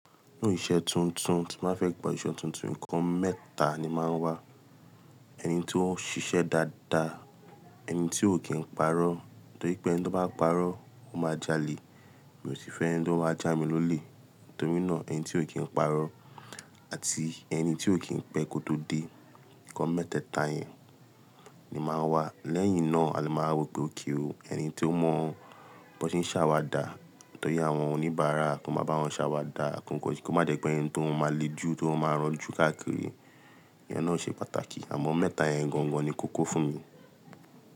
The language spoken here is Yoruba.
Ni iṣẹ́ tuntun, tí má fẹ́ gba ìṣẹ tuntun, ǹkan mẹ́ta ni máa ń wà. Ẹni tí ó ń ṣiṣẹ́ dáadáa, ẹni tí ò kí ń parọ́, nítorí pé ẹni tí ó bá parọ́, ó máa jalè. Mi ò sì fẹ́ ẹni tí ó máa já mi lólè, nítorí náà ẹni tí ò kí ń parọ́, àti ẹni tí ò kí ń pẹ́ kó tó dé. Ǹkan mẹ́tẹ́ẹ̀ta yẹn ni máa ń wà. Lẹ́yìn náà, a lè máa rò pé óké ó. Ẹni tí ó mọ bí wọ́n ṣe ń ṣàwàdà, nítorí àwọn oníbàárà, kí wọ́n máa bá wọn ṣàwàdà, kí ó má jẹ́ pé ẹni tí wọ́n máa lé jù tí wọ́n máa rán jù káàkiri. Ìyẹn náà ṣe pàtàkì. Àmọ́ mẹ́ta yẹn gangan ni kókó fún mi.